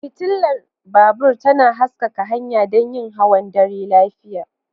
Fitilar babur tana haskaka hanya don yin hawan dare lafiya.